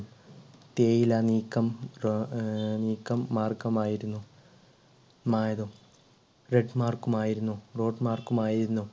തേയില നീക്കം ഏർ അഹ് നീക്കം മാർഗം ആയിരുന്നു മായതും red മാർക്കുമായിരുന്നു road മാർഗമായിരുന്നു.